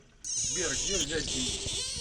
сбер где взять деньги